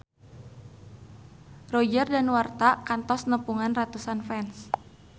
Roger Danuarta kantos nepungan ratusan fans